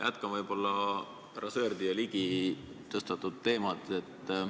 Jätkan härra Sõerdi ja Ligi tõstatatud teemat.